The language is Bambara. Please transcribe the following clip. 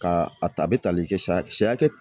Ka a ta a bɛ tali kɛ siyɛ hakɛ.